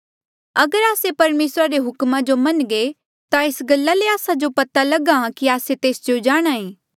अगर आस्से परमेसरा रे हुक्मा जो मन्नघे ता एस गल्ला ले आस्सा जो पता लगा कि आस्से तेस जो जाणहां ऐें